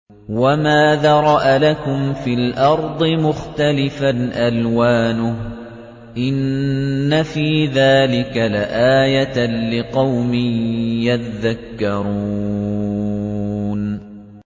وَمَا ذَرَأَ لَكُمْ فِي الْأَرْضِ مُخْتَلِفًا أَلْوَانُهُ ۗ إِنَّ فِي ذَٰلِكَ لَآيَةً لِّقَوْمٍ يَذَّكَّرُونَ